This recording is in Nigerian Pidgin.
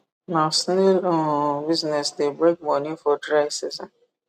na snail um business de bring moni for dry season